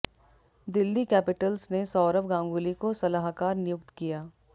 Delhi Capitals ने सौरव गांगुली को सलाहकार नियुक्त किया